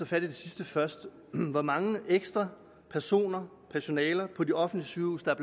fat i det sidste først hvor mange ekstra personer personaler på de offentlige sygehuse der er